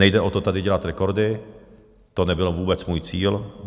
Nejde o to, tady dělat rekordy, to nebyl vůbec můj cíl.